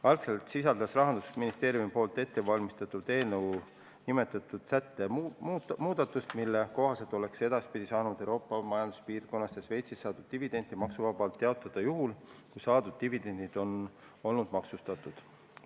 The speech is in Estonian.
Algselt sisaldas Rahandusministeeriumi ettevalmistatud eelnõu nimetatud sätte muudatust, mille kohaselt oleks edaspidi saanud Euroopa majanduspiirkonnast ja Šveitsist saadud dividende maksuvabalt jaotada juhul, kui saadud dividendid on olnud maksustatud.